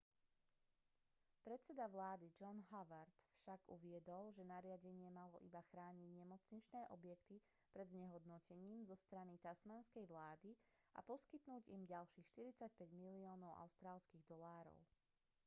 predseda vlády john howard však uviedol že nariadenie malo iba ochrániť nemocničné objekty pred znehodnotením zo strany tasmánskej vlády a poskytnúť im ďalších 45 miliónov aud